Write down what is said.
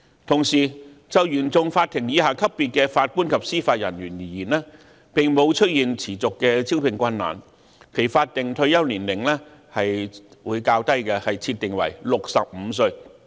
同時，就原訟法庭以下級別的法官及司法人員而言，並沒有出現持續的招聘困難，因此其法定退休年齡會設定為較低的65歲。